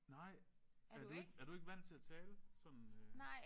Nej er du ikke er du ikke vant til at tale sådan øh